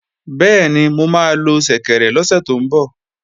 Bẹ́ẹ̀ni, mo máa lo ṣẹ̀kẹ̀rẹ̀ lọ́sẹ̀ tó ń bọ̀